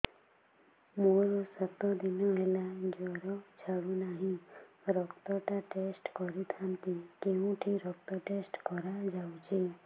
ମୋରୋ ସାତ ଦିନ ହେଲା ଜ୍ଵର ଛାଡୁନାହିଁ ରକ୍ତ ଟା ଟେଷ୍ଟ କରିଥାନ୍ତି କେଉଁଠି ରକ୍ତ ଟେଷ୍ଟ କରା ଯାଉଛି